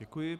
Děkuji.